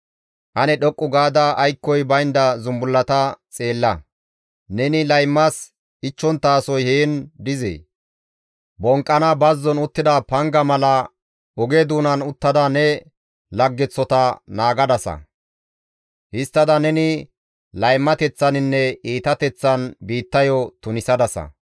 «Ane dhoqqu gaada aykkoy baynda zumbullata xeella; neni laymas ichchonttasoy hessan dizee? Bonqqana bazzon uttida panga mala oge doonan uttada ne laggeththota naagadasa; histtada neni laymateththaninne iitateththan biittayo tunisadasa.